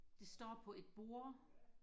det står på et bord